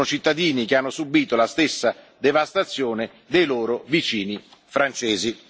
Sono cittadini che hanno subìto la stessa devastazione dei loro vicini francesi.